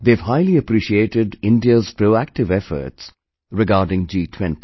They have highly appreciated India's proactive efforts regarding G20